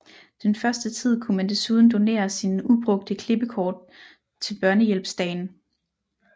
Den første tid kunne man desuden donere sine ubrugte klippekort til Børnehjælpsdagen